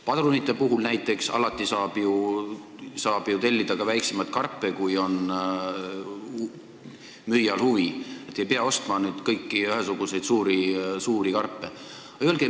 Padrunid näiteks: alati saab ju tellida ka väiksemaid karpe, kui müüjal on huvi, ei pea ostma ühesuguseid suuri karpe.